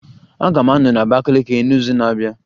Aga m anọ na Abakiliki n'izu na-abịa